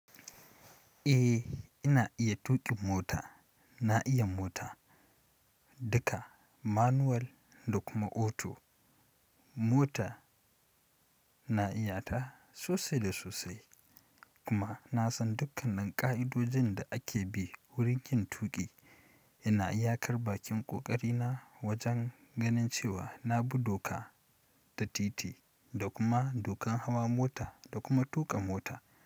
Ae ina iya tukin mota. Na iya mota duka, manual da kuma auto. Mota na iyata sosai da sosai kuma na san dukkanan ƙa'idojin da ake bi wurin yin tuƙi. Ina iya karɓa ƙin ƙoƙari na wajen ganin cewa na bi doka da titi da kuma dokan hawa mota da kuma tuƙa mota.